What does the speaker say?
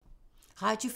Radio 4